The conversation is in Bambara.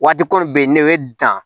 Waati ko bɛ yen ne bɛ dan